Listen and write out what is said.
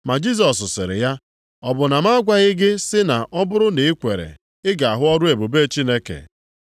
Ma Jisọs sịrị ya, “Ọ bụ na m agwaghị gị sị na ọ bụrụ na ị kwere ị ga-ahụ ọrụ ebube Chineke?”